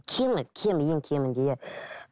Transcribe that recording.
кемі кемі ең кемінде иә